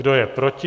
Kdo je proti?